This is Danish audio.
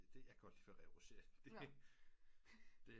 Det jag kan godt lide ferrero rocher det